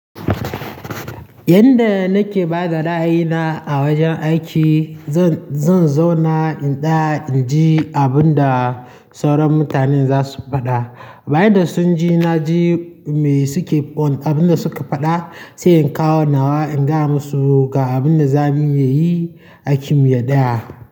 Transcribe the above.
Yanda nake bada ra'ayina a wajen aiki, zan, zan zauna in tsaya in ji abun da sauran mutanen za su faɗa. Bayan da sun ji, na ji me suke pon-- abin da suke faɗa sai in kawon nawa in ga masu ga abin da zan iya yi a kimiyyar ɗaya.